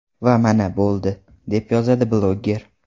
Va mana, bo‘ldi…”, deb yozadi bloger.